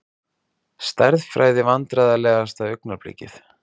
Stærðfræði Vandræðalegasta augnablikið?